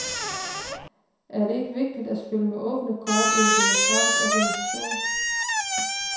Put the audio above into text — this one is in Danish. Er det ikke vigtigt at spille med åbne kort i en demokratisk organisation?